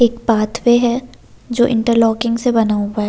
एक पाथवे है जो इंटरलॉकिंग से बना हुआ है।